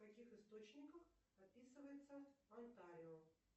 в каких источниках описывается онтарио